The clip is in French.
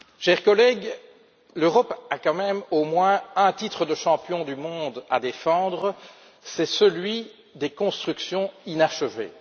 Monsieur le Président, chers collègues, l'Europe a quand même au moins un titre de champion du monde à défendre, c'est celui des constructions inachevées.